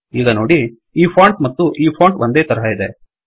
ಈಗ ನೋಡಿ ಈ ಫೋಂಟ್ ಮತ್ತು ಈ ಫೋಂಟ್ ಒಂದೇ ತರಹ ಇದೆ